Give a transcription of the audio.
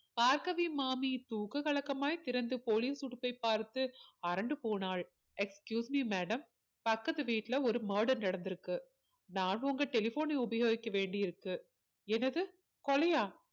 பார்கவி மாமி தூக்க கலக்கமாய் திறந்து police உடுப்பை பார்த்து அரண்டு போனாள் excuse me madame பக்கத்து வீட்டுல ஒரு murder நடந்து இருக்கு நான் உங்க telephone னை உபயோகிக்க வேண்டி இருக்கு என்னது கொலையா